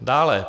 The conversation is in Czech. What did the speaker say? Dále.